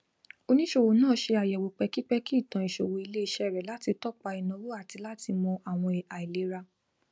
oníṣòwò náà ṣe àyẹwò pẹkipẹki itan ìṣòwò iléiṣẹ rẹ láti tọpa ináwó àti láti mọ àwọn àìlera